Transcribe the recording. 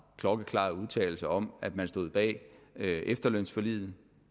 klokkeklare udtalelser om at man stod bag efterlønsforliget